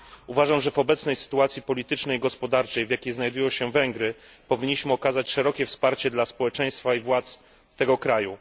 Uważam, że w obecnej sytuacji politycznej i gospodarczej, w jakiej znajdują się Węgry, powinniśmy okazać szerokie wsparcie dla społeczeństwa i władz tego kraju.